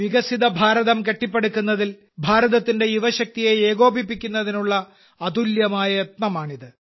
വികസിത ഭാരതം കെട്ടിപ്പടുക്കുന്നതിൽ ഭാരതത്തിന്റെ യുവശക്തിയെ ഏകോപിപ്പിക്കുന്നതിനുള്ള ഒരു അതുല്യമായ യത്നമാണിത്